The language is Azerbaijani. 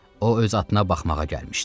O öz atına baxmağa gəlmişdi.